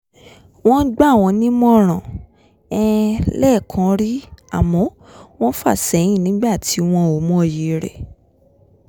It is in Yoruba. wọ́n gbà wọ́n nímọ̀ràn um lẹ́ẹ̀kan rí àmọ́ wọ́n fà sẹ́yìn nígbà tí wọn ò mọyì rẹ̀